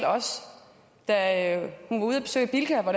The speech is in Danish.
da hun var ude at besøge bilka hvor